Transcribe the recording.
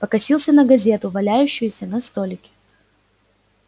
покосился на газету валяющуюся на столике